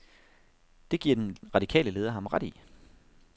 Det giver den radikale leder ham ret i.